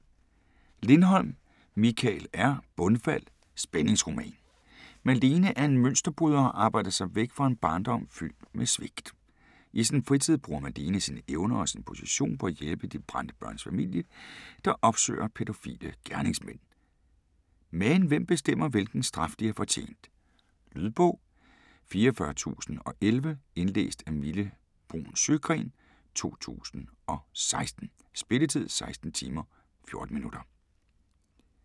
Lindholm, Mikael R.: Bundfald: spændingsroman Malene er en mønsterbryder og har arbejdet sig væk fra en barndom fyldt med svigt. I sin fritid bruger Malene sine evner og sin position på at hjælpe De Brændte Børns Familie, der opsøger pædofile gerningsmænd. Men hvem bestemmer, hvilken straf de har fortjent? Lydbog 44011 Indlæst af Mille Bruun Sjøgren, 2016. Spilletid: 16 timer, 14 minutter.